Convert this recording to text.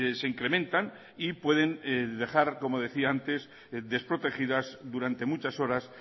se incrementan y pueden dejar como decía antes desprotegidas durante muchas horas